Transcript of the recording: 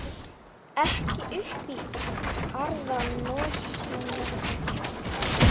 Julia, hvað er klukkan?